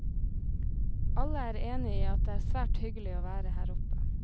Alle er enige i at det er svært hyggelig å være her oppe.